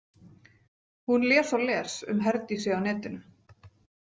Hún les og les um Herdísi á netinu.